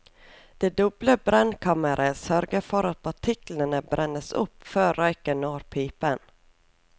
Det doble brennkammeret sørger for at partiklene brennes opp før røyken når pipen.